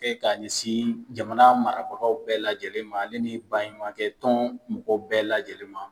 Ka kɛ ka ɲɛsin jamana marabagaw bɛɛ lajɛlen ma ale ni baɲumanye kɛ tɔn mɔgɔ bɛɛ la lajɛlen ma.